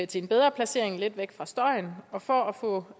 til en bedre placering lidt væk fra støjen og for at få